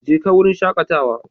Jeka wurin shakatawa.